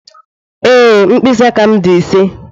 Ee, mkpịsị aka m dị ise.